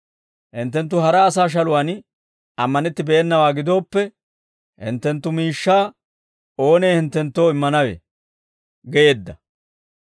Hinttenttu hara asaa shaluwaan ammanettennawaa gidooppe, hinttenttu miishshaa oonee hinttenttoo immanawe?› geedda.